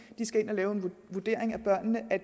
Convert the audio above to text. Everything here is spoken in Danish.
skal ind og lave en vurdering af børnene